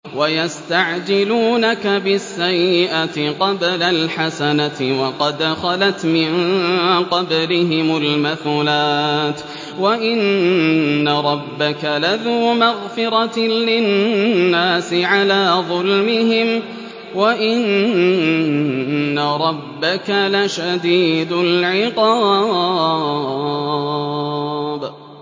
وَيَسْتَعْجِلُونَكَ بِالسَّيِّئَةِ قَبْلَ الْحَسَنَةِ وَقَدْ خَلَتْ مِن قَبْلِهِمُ الْمَثُلَاتُ ۗ وَإِنَّ رَبَّكَ لَذُو مَغْفِرَةٍ لِّلنَّاسِ عَلَىٰ ظُلْمِهِمْ ۖ وَإِنَّ رَبَّكَ لَشَدِيدُ الْعِقَابِ